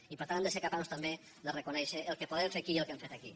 i per tant hem de ser capaços també de reconèixer el que podem fer aquí i el que hem fet aquí